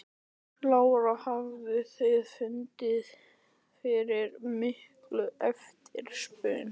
Lára: Hafið þið fundið fyrir mikilli eftirspurn?